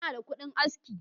Ina da kudin aski.